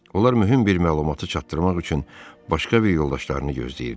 Onlar mühüm bir məlumatı çatdırmaq üçün başqa bir yoldaşlarını gözləyirdilər.